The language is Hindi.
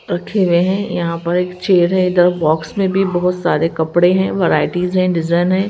रखे हुए हैं यहां पर एक चेयर है इधर बॉक्स में भी बहुत सारे कपड़े हैं वैराइटीज हैं डिजाइन हैं।